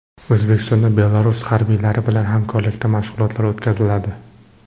O‘zbekistonda Belarus harbiylari bilan hamkorlikda mashg‘ulotlar o‘tkaziladi .